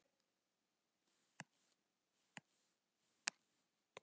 Einsog ég hafi verið.